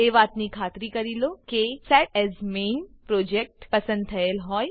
એ વાતની ખાતરી કરી લો કે set as main project set as main project પસંદ થયેલ હોય